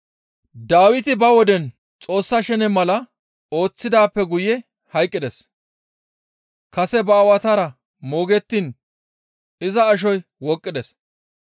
«Dawiti ba woden Xoossa shene mala ooththidaappe guye hayqqides; kase ba aawatara moogettiin iza ashoy wooqqides.